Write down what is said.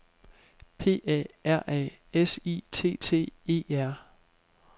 P A R A S I T T E R